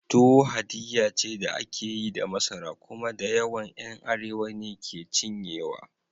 Tuwo haddiya ce da ake yi da masara, kuma dayawan ’yan Arewa ne ke cinyewa.